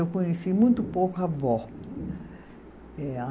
Eu conheci muito pouco avó. É a